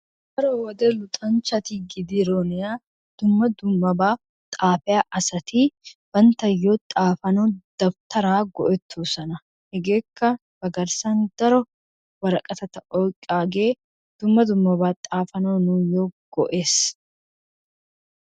Daro wode luxxanchati gidirona dumma dummabaa xaafiya asati bantayoo xafanawu dawutaraa go'etoosona. Hegeeka ba garssan daro woraqatata oyqaagee dumma dummaba xaafanawu nuuyo go'ees,